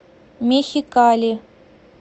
мехикали